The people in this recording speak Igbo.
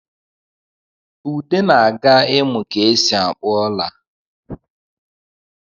Ude na-aga imụ ka e si akpụ ọla